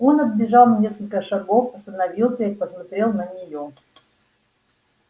он отбежал на несколько шагов остановился и посмотрел на нее